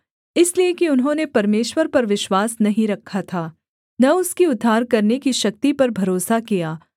इसलिए कि उन्होंने परमेश्वर पर विश्वास नहीं रखा था न उसकी उद्धार करने की शक्ति पर भरोसा किया